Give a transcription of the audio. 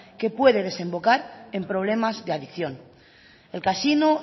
que puede desembocar en problemas de adicción el casino